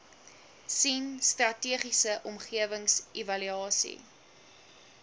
sien strategiese omgewingsevaluasie